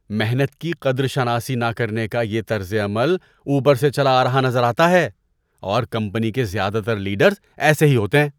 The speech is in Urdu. محنت کی قدر شناسی نہ کرنے کا یہ طرز عمل اوپر سے چلا آ رہا نظر آتا ہے اور کمپنی کے زیادہ تر لیڈرز ایسے ہی ہوتے ہیں۔